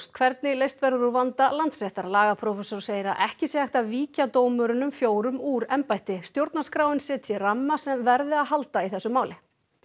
hvernig leyst verður úr vanda Landsréttar lagaprófessor segir að ekki sé hægt að víkja dómurunum fjórum úr embætti stjórnarskráin setji ramma sem verði að halda í þessu máli